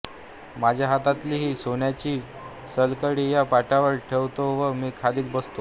माझ्या हातातली ही सोन्याची सलकडी या पाटावर ठेवतो व मी खालीच बसतो